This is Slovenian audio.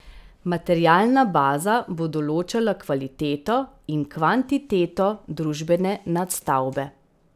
Materialna baza bo določala kvaliteto in kvantiteto družbene nadstavbe.